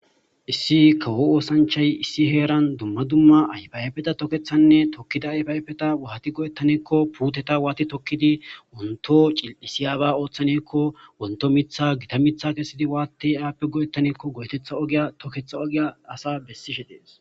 Issi kawo oosanchay issi heeran dumma dumma ayfayefeta tokethanne tokkida ayfayfeta waati go'ettaneekko puuteta waati tokkidi wonto cil'isiyaaba ooththanekko wonto mitha gita mitha kesidi waatte aappe go'ettanekko go'etetha ogiya toketha ogiya asa bessishe dees.